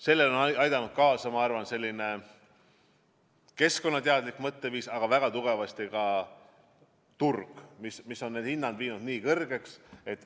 Sellele on aidanud kaasa, ma arvan, keskkonnateadlik mõtteviis, aga väga tugevasti ka turg, mis on hinnad viinud väga kõrgeks.